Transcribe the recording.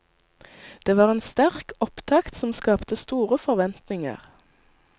Det var en sterk opptakt som skapte store forventninger.